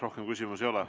Rohkem küsimusi ei ole.